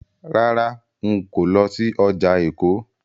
Rárá, n kò lọ sí ọjà Èkó.